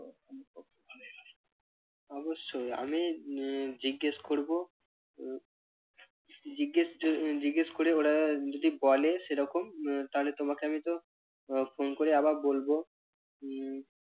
অবশ্যই আমি আহ জিজ্ঞেস করবো আহ জিজ্ঞেস জিজ্ঞেস করে ওরা যদি বলে সেরকম উহ তাহলে তোমাকে আমি তো phone করে আবার বলবো।